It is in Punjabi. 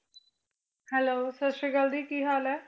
Hello ਸਤਿ ਸ੍ਰੀ ਅਕਾਲ ਜੀ ਕੀ ਹਾਲ ਹੈ?